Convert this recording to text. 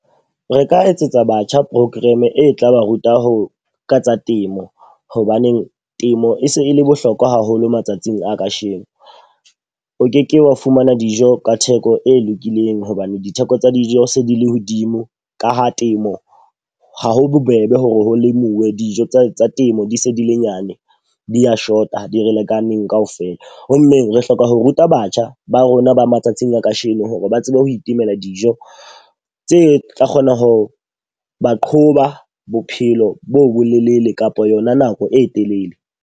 Re ka etsetsa batjha program e tla ba ruta ho ka tsa temo. Hobaneng temo e se e le bohlokwa haholo matsatsing a ka sheno. O ke ke wa fumana dijo ka theko e lokileng hobane ditheko tsa dijo se di le hodimo ka ha temo ha ho bobebe ho re ho lemuwe dijo tsa temo di se di le nyane. Di a shota di re lekaneng ka ofela. Ho mmeng re hloka ho ruta batjha ba rona ba matsatsing a ka sheno hore ba tsebe ho itemela dijo tse tla kgona ho ba qhoba bophelo bo bolelele kapa yona nako e telele.